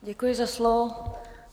Děkuji za slovo.